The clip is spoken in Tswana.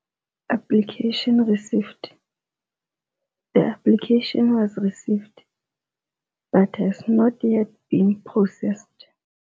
Application received. The application was received, but has not yet been processed.